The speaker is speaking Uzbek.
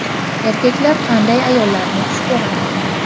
Erkaklar qanday ayollarni xush ko‘radi?